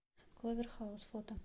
кловер хаус фото